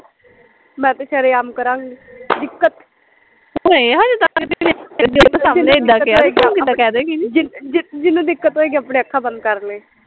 ਮੈਂ ਤਾਂ ਸ਼ਰੇਆਮ ਕਰਾਂਗੀ ਦਿੱਕਤ ਜਿਨ ਜਿਹਨੂੰ ਦਿੱਕਤ ਹੋਏਗੀ ਆਪਣੀਆਂ ਅੱਖਾਂ ਬੰਦ ਕਰਲੇ